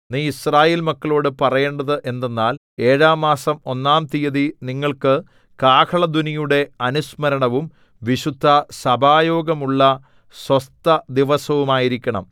നീ യിസ്രായേൽ മക്കളോടു പറയേണ്ടത് എന്തെന്നാൽ ഏഴാം മാസം ഒന്നാം തീയതി നിങ്ങൾക്ക് കാഹളധ്വനിയുടെ അനുസ്മരണവും വിശുദ്ധസഭായോഗമുള്ള സ്വസ്ഥ ദിവസവുമായിരിക്കണം